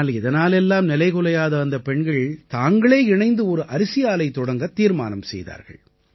ஆனால் இதனால் எல்லாம் நிலைகுலையாத இந்தப் பெண்கள் தாங்களே இணைந்து ஒரு அரிசி ஆலை தொடங்கத் தீர்மானம் செய்தார்கள்